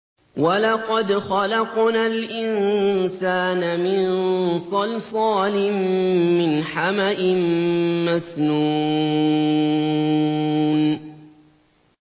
وَلَقَدْ خَلَقْنَا الْإِنسَانَ مِن صَلْصَالٍ مِّنْ حَمَإٍ مَّسْنُونٍ